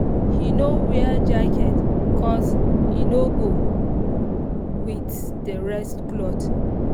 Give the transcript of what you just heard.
he no wear jacket cos e no go with the rest cloth